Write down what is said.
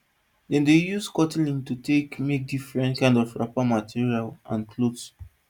dem dey use cotton lint to take make different kind wrapper material and clothes